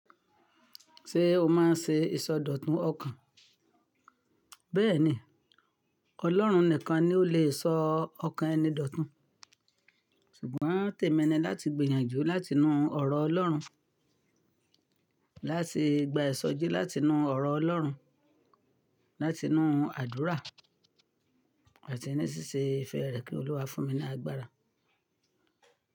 Ṣé o máa n ṣe ìsọdọ̀tun ọkàn? Bẹ́ẹ̀ni, Ọlọ́run nìkan ni o le sọ ọkàn ẹni dọ̀tun, ṣùgbọ́n tèmi ni láti gbìyànjú láti inú ọ̀rọ̀ Ọlọ́run, láti gba ìsọjí láti inú ọ̀rọ̀ Ọlọ́run, láti inú àdúrà àti ní ṣíṣe ìfẹ́ rẹ̀ kí Olúwa fún mi ní agbára.